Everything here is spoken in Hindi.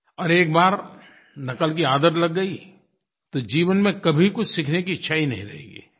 और एक बार नक़ल की आदत लग गई तो जीवन में कभी कुछ सीखने की इच्छा ही नहीं रहेगी